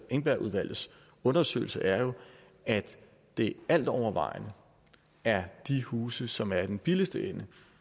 engbergudvalgets undersøgelse er jo at det altovervejende er de huse som er i den billigste ende